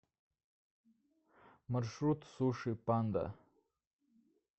маршрут суши панда